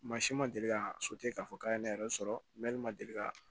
Mansin ma deli ka k'a fɔ k'a ye ne yɛrɛ sɔrɔ ma deli ka